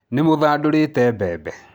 Nĩmũthandorĩte mbembe